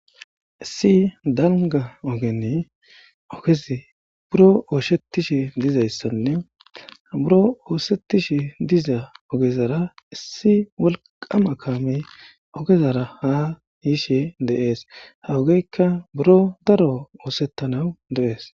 Issi danga ogeni ogez buro ooshettishe dizayssanne buro oosettishe diza ogezara issi wolqqama kaamey ogezara ha yishe deees. ha ogeykka buro daro oosettanawu dees.